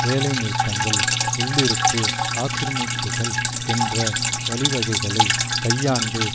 வேலைநிறுத்தங்கள் உள்ளிருப்பு ஆக்கிரமிப்புக்கள் என்ற வழிவகைகளை கையாண்டு